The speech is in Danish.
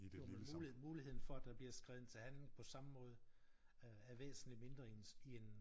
Jo men muligheden muligheden for at der bliver skredet til handling på samme måde er væsentlig mindre i en i en